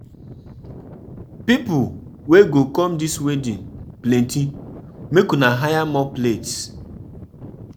Na um new year we year we go discuss resolution, but um for now, um na enjoyment time.